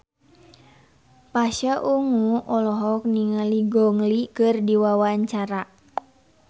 Pasha Ungu olohok ningali Gong Li keur diwawancara